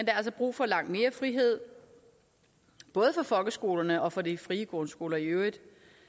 er altså brug for langt mere frihed både for folkeskolerne og for de frie grundskoler i øvrigt